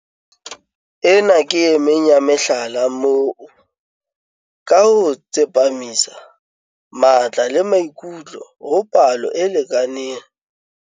Ena ke emeng ya mehlala moo, ka ho tsepamisa matla le maikutlo ho palo e lekaneng ya dintlafatso tse ka sehloohong, mmuso o busang ha jwale o kgonne ho tlisa tswelopele.